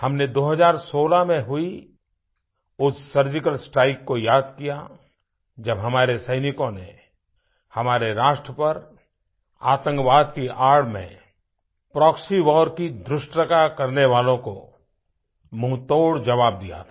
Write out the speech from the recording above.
हमने 2016 में हुई उस सर्जिकल स्ट्राइक को याद किया जब हमारे सैनिकों ने हमारे राष्ट्र पर आतंकवाद की आड़ में प्रॉक्सी वार की धृष्टता करने वालों को मुँहतोड़ ज़वाब दिया था